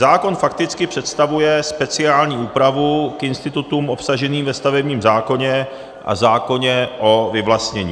Zákon fakticky představuje speciální úpravu k institutům obsaženým ve stavebním zákoně a zákoně o vyvlastnění.